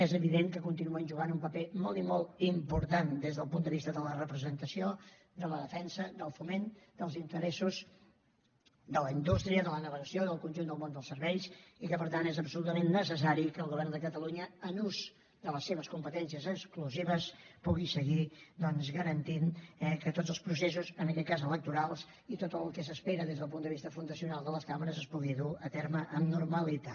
és evident que continuen jugant un paper molt i molt important des del punt de vista de la representació de la defensa del foment dels interessos de la indústria de la navegació del conjunt del món dels serveis i que per tant és absolutament necessari que el govern de catalunya en ús de les seves competències exclusives pugui seguir doncs garantint eh que tots els processos en aquest cas electorals i tot el que s’espera des del punt de vista fundacional de les cambres es pugui dur a terme amb normalitat